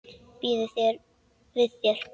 Býður við þér.